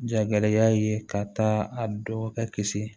Jagɛlɛya ye ka taa a dɔn ka kisi